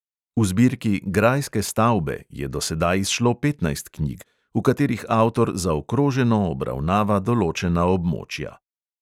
V zbirki grajske stavbe je do sedaj izšlo petnajst knjig, v katerih avtor zaokroženo obravnava določena območja.